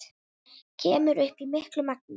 Kemur upp í miklu magni.